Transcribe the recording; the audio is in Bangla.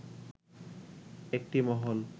একটি মহল